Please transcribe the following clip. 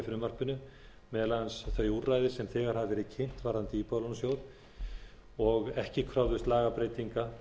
frumvarpinu meðal annars þau úrræði sem þegar hafa verið kynnt varðandi íbúðalánasjóð og ekki kröfðust lagabreytinga